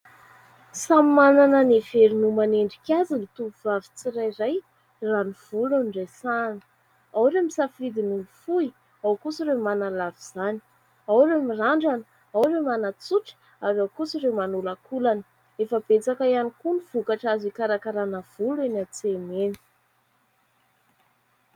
Samy manana ny heveriny ho manendrika azy ny tovovavy tsirairay raha ny volo no resahina. Ao ireo misafidy ny fohy, ao ny manalava izany ; ao ireo mirandrana, ao ireo manatsotra ary ao kosa ireo manolankolana. Efa betsaka ihany koa ny vokatra azo ikarakarana volo eny an-tsena eny.